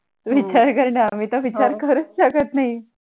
विचार करना हो हव मी तर विचार करून थकत नाही